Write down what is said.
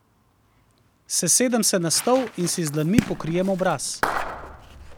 Sesedem se na stol in si z dlanmi pokrijem obraz.